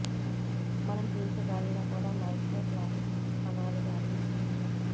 మనం పీల్చే గాలిలో కూడా మైక్రోప్లాస్టిక్ కణాలు వ్యాపించి ఉన్నాయి